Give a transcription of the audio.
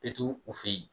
E t'u u fɛ yen